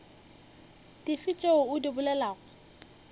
dife tšeo o di bolelago